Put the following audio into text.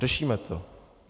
Řešíme to.